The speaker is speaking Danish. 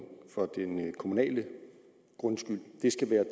kommunale grundskyld skal være